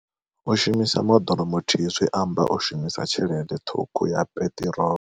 U shumisa moḓoro muthihi zwi amba u shumisa tshelede ṱhukhu ya peṱirolo.